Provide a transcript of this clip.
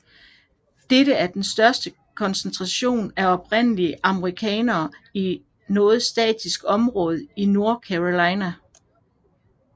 Dette er den største koncentration af oprindelige amerikanere i noget statistisk område i North Carolina